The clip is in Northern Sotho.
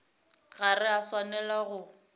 ga re a swanela go